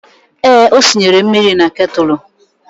Ee, o sinyere mmiri na ketụlụ